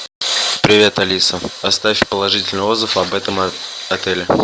привет алиса оставь положительный отзыв об этом отеле